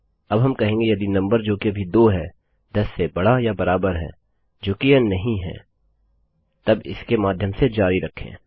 अब हम कहेंगे यदि नंबर जो कि अभी 2 है 10 से बड़ा या बराबर है जोकि यह नहीं है तब इसके माध्यम से जारी रखें